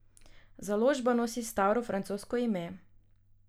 Založba nosi staro francosko ime.